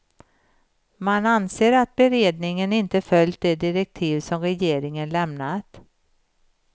Man anser att beredningen inte följt de direktiv som regeringen lämnat.